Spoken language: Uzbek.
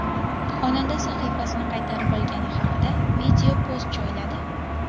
Xonanda sahifasini qaytarib olgani haqida video post joyladi.